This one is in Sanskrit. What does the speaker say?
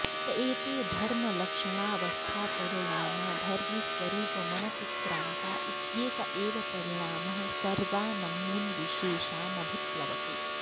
त एते धर्मलक्षणावस्थापरिणामा धर्मिस्वरूपमनतिक्रान्ता इत्येक एव परिणामः सर्वानमून्विशेषानभिप्लवते